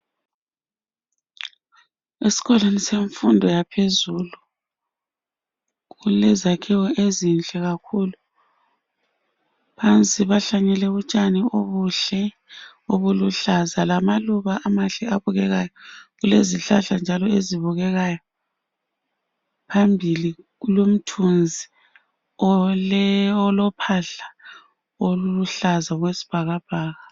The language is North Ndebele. Esikolweni semfundo yaphezulu, kulezakhiwo ezinhle kakhulu phansi bahlanyele utshani obuhle obuluhlaza lamaluba amahle abukekayo, kulezihlahla njalo ezibukekayo phambili kulomthunzi olophahla oluluhlaza okwesibhakabhaka.